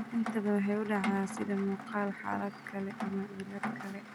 Inta badan, waxay u dhacdaa sida muuqaal xaalad kale ama cillad kale.